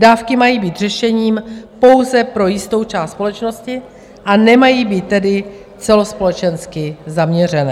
Dávky mají být řešením pouze pro jistou část společnosti, a nemají být tedy celospolečensky zaměřené.